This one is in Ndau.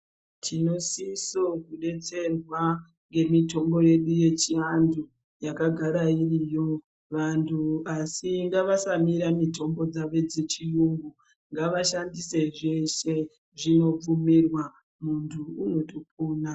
Tinosiso kudetserwa ngemitombo yedu yechivantu yakagara iriyo . Vantu asi ngavasamira mitombo dzavo dzechiyungu ngavashandise zveshe zvinobvumirwa muntu unotopona